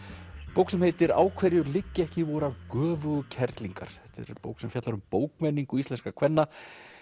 bók sem heitir á hverju liggja ekki vorar göfugu kerlingar þetta er bók sem fjallar um bókmenningu íslenskra kvenna